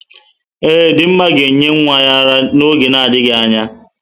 Ee, Dinma ga-enye nwa ya ara n'oge na adịghị anya.